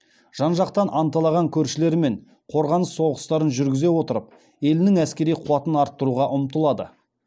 жан жақтан анталаған көршілерімен қорғаныс соғыстарын жүргізе отырып елінің әскери қуатын арттыруға ұмтылады